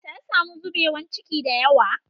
Ta samu zubewa ciki da yawa